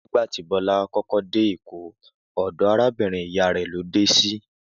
Nígbà tí Bó̩lá kó̩kó̩ dé Èkó, ò̩dò̩ arábìrin ìyá rè̩̀ ló dé sí